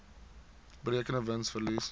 berekende wins verlies